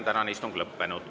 Tänane istung on lõppenud.